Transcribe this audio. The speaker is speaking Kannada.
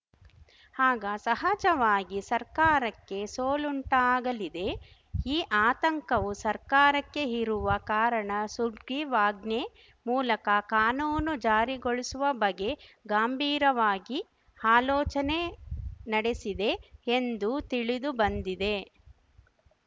ಆಗ ಸಹಜವಾಗಿ ಸರ್ಕಾರಕ್ಕೆ ಸೋಲುಂಟಾಗಲಿದೆ ಈ ಆತಂಕವು ಸರ್ಕಾರಕ್ಕೆ ಇರುವ ಕಾರಣ ಸುಗ್ರೀವಾಜ್ಞೆ ಮೂಲಕ ಕಾನೂನು ಜಾರಿಗೊಳಿಸುವ ಬಗೆ ಗಂಭೀರವಾಗಿ ಆಲೋಚನೆ ನಡೆಸಿದೆ ಎಂದು ತಿಳಿದು ಬಂದಿದೆ